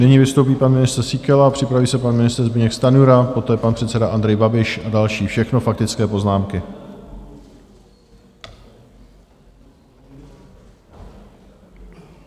Nyní vystoupí pan ministr Síkela, připraví se pan ministr Zbyněk Stanjura, poté pan předseda Andrej Babiš a další, všechno faktické poznámky.